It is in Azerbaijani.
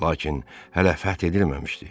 Lakin hələ fəth edilməmişdi.